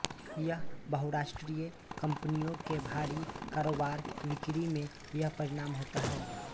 यह बहुराष्ट्रीय कंपनियों के भारी कारोबारबिक्री में यह परिणाम होता हैं